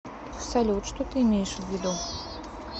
салют что ты имеешь ввиду